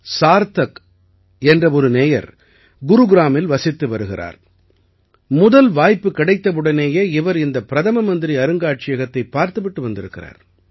சார்த்தக் என்ற ஒரு நேயர் குருகிராமில் வசித்து வருகிறார் முதல் வாய்ப்பு கிடைத்தவுடனேயே இவர் இந்த பிரதம மந்திரி அருங்காட்சியகத்தைப் பார்த்து விட்டு வந்திருக்கிறார்